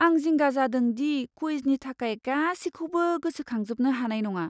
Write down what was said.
आं जिंगा जादों दि क्वुइजनि थाखाय गासिखौबो गोसोखांजोबनो हानाय नङा।